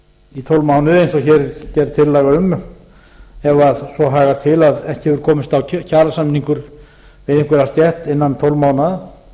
í tólf mánuði eins og hér er gerð tillaga um ef svo hagar til að ekki hefur komist á kjarasamningur við einhverja stétt innan tólf mánaða